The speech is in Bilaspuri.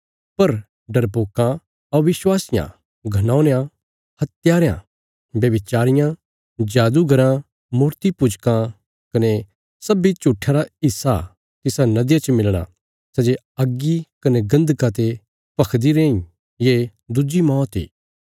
पर डरपोकां अविश्वासियां घिनौनयां हत्यारयां व्यभिचारियां जादूगराँ मूर्तीपूजकां कने सब्बीं झुट्ठयां रा हिस्सा तिसा नदिया च मिलणा सै जे अग्गी कने गन्धका ते भखदी रैयांई ये दुज्जी मौत इ